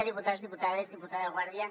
diputats diputades i diputada guàrdia